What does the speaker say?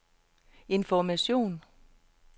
information